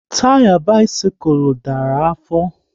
Taya bisikul dara afọ